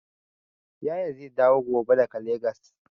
Yaya zai dawo gobe daga Legas.